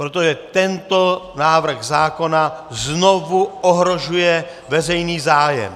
Protože tento návrh zákona znovu ohrožuje veřejný zájem!